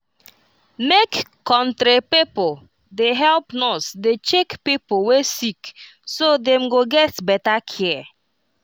make country pipo dey help nurse dey dey check pipo wey sick so dem go get better care